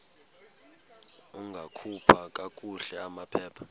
ungakhupha kakuhle amaphepha